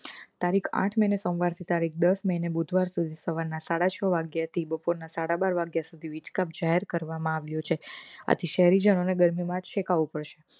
તારીખ આઠ મે ને સોમાવર થી તારીખ દસ મે ને બુધવારે સુધી સવાર ના સાડા છ વાગ્યા થી બપોર ના સાડા બાર વાગ્યા સુધી વીજ કાપ જાહેર કરવામાં આવ્યું છે આથી શહેરી જનોને ગરમી માં શેકાવું પડશે